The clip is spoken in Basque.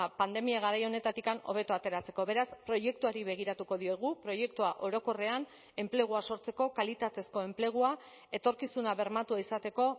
pandemia garai honetatik hobeto ateratzeko beraz proiektuari begiratuko diogu proiektua orokorrean enplegua sortzeko kalitatezko enplegua etorkizuna bermatua izateko